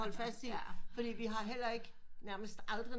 Holde fast i fordi vi har heller ikke nærmest aldrig